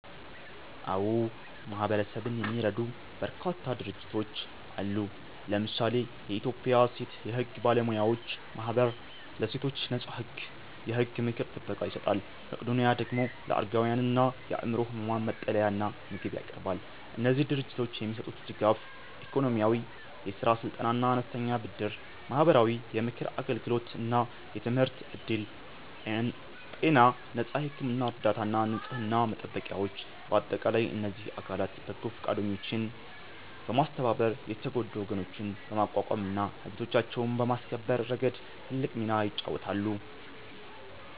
አዎ፣ ማህበረሰብን የሚረዱ በርካታ ድርጅቶች አሉ። ለምሳሌ የኢትዮጵያ ሴት የሕግ ባለሙያዎች ማኅበር ለሴቶች ነፃ የሕግ ምክርና ጥበቃ ይሰጣል። መቄዶኒያ ደግሞ ለአረጋውያንና የአእምሮ ሕሙማን መጠለያና ምግብ ያቀርባል። እነዚህ ድርጅቶች የሚሰጡት ድጋፍ፦ -ኢኮኖሚያዊ፦ የሥራ ስልጠናና አነስተኛ ብድር። -ማህበራዊ፦ የምክር አገልግሎትና የትምህርት ዕድል። -ጤና፦ ነፃ የሕክምና እርዳታና ንጽሕና መጠበቂያዎች። በአጠቃላይ እነዚህ አካላት በጎ ፈቃደኞችን በማስተባበር የተጎዱ ወገኖችን በማቋቋምና መብቶቻቸውን በማስከበር ረገድ ትልቅ ሚና ይጫወታሉ።